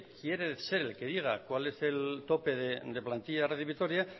quiere ser el que diga cuál es el tope de plantilla de radio vitoria